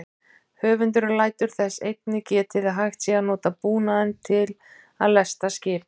Höfundurinn lætur þess einnig getið að hægt sé að nota búnaðinn til að lesta skip.